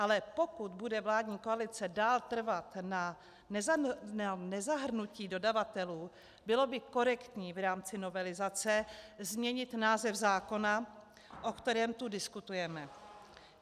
Ale pokud bude vládní koalice dál trvat na nezahrnutí dodavatelů, bylo by korektní v rámci novelizace změnit název zákona, o kterém tu diskutujeme.